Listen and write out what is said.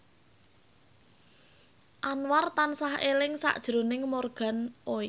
Anwar tansah eling sakjroning Morgan Oey